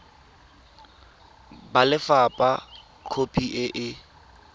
ba lefapha khopi e e